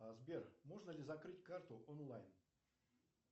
сбер можно ли закрыть карту онлайн